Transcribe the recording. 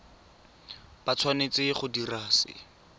ba tshwanetse go dira se